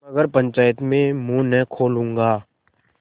मगर पंचायत में मुँह न खोलूँगा